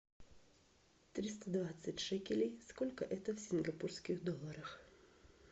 триста двадцать шекелей сколько это в сингапурских долларах